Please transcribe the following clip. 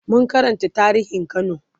mun Karanta tarihin kano